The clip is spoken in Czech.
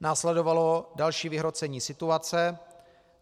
Následovalo další vyhrocení situace.